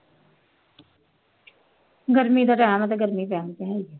ਗਰਮੀ ਦਾ time ਹੈ ਤਾਂ ਗਰਮੀ ਪੈਣੀ ਤਾਂ ਹੈ ਹੀ